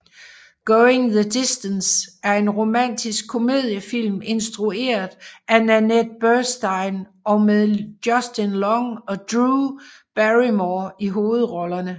Going the Distance er en romantisk komediefilm instrueret af Nanette Burstein og med Justin Long og Drew Barrymore i hovedrollerne